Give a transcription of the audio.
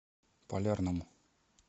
полярному